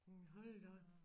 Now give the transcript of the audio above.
Jamen hold da op